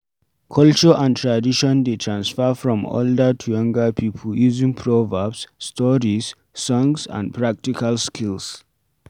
Culture and tradition dey transfer from older to younger pipo using proverbs, stories, songs and practical skills